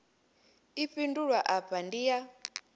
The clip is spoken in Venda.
i fhindulwa afha ndi ya